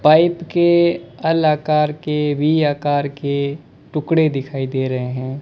Pipe के L आकर के वी आकर के टुकड़े दिखाई दे रहे हैं।